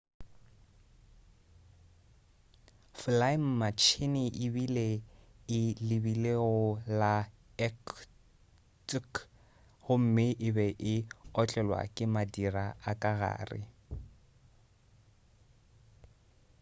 folaematšhine e be e lebile go la irkutsk gomme e be e otlelwa ke madira a ka gare